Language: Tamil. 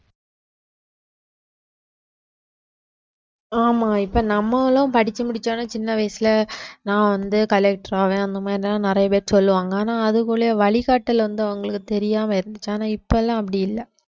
ஆமா இப்ப நம்மளும் படிச்சு முடிச்சவுடனே சின்ன வயசுல நான் வந்து collector ஆவேன் அந்த மாரி எல்லாம் நிறைய பேர் சொல்லுவாங்க ஆனா அதுக்குள்ள வழிகாட்டுதல் வந்து அவங்களுக்கு தெரியாம இருந்துச்சு ஆனா இப்ப எல்லாம் அப்படி இல்லை